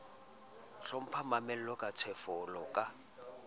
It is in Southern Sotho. hlompha mamela ka tshetshefo ka